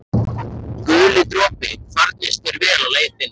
Guli dropi, farnist þér vel á leið þinni.